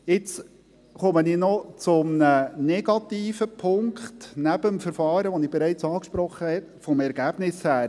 Nun komme ich noch zu einem negativen Punkt – neben dem Verfahren, das ich bereits angesprochen habe – vom Ergebnis her: